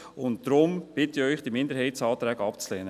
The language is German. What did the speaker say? Deshalb bitte ich Sie, diese Minderheitsanträge abzulehnen.